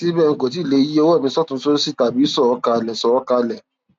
síbẹ n kò tíì lè yí ọwọ mi sọtùnún sósì tàbí sọ ọ kalẹ sọ ọ kalẹ